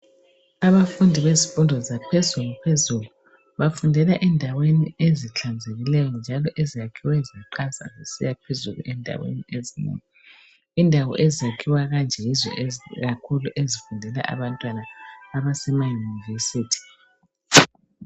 Abafundi bezifundo zaphezulu phezulu bafundela endaweni ezihlanzekileyo njalo eziyakhiwe zaqansa. Indawo ezakhiwe kanje yizo ezifundela abantwana abasemayunivesithi.